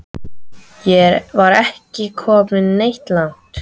Ég var ekki kominn neitt langt.